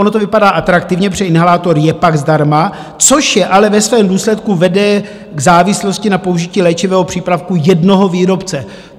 Ono to vypadá atraktivně, protože inhalátor je pak zdarma, což je ale ve svém důsledku vede k závislosti na použití léčivého přípravku jednoho výrobce.